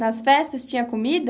Nas festas tinha comida?